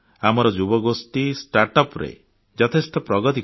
ଆମର ଯୁବଗୋଷ୍ଠୀ Startupରେ ଯଥେଷ୍ଟ ପ୍ରଗତି କରିଛନ୍ତି